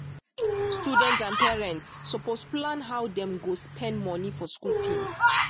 students and parents suppose plan how dem go spend money for school things.